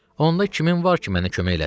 Onda kimin var ki mənə kömək eləsin?